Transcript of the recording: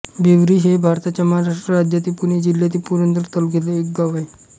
भिवरी हे भारताच्या महाराष्ट्र राज्यातील पुणे जिल्ह्यातील पुरंदर तालुक्यातील एक गाव आहे